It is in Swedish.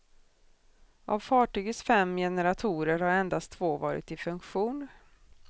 Av fartygets fem generatorer har endast två varit i funktion.